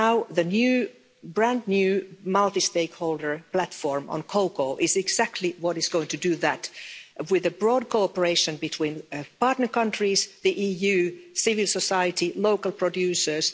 The brand new multi stakeholder platform on cocoa is exactly what is going to do that, with broad cooperation between partner countries, the EU, civil society and local producers.